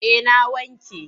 Eh na wanke.